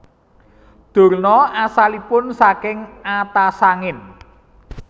Durna asalipun saking Atasangin